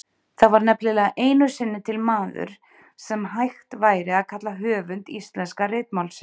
Það var nefnilega einu sinni til maður sem hægt væri að kalla höfund íslenska ritmálsins.